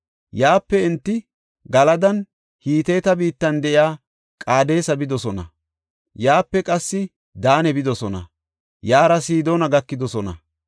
Yaape enti Galadanne Hiteta biittan de7iya Qaadesa bidosona; yaape qassi Daane bidosona; yaara Sidoona gakidosona.